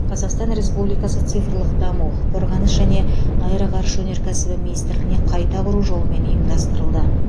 қазақстан республикасы цифрлық даму қорғаныс және аэроғарыш өнеркәсібі министрлігіне қайта құру жолымен ұйымдастырылды